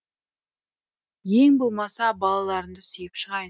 ең болмаса балаларымды сүйіп шығайын